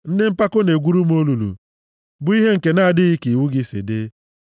Ndị mpako na-egwuru m olulu, bụ ihe nke na-adịghị ka iwu gị si dị.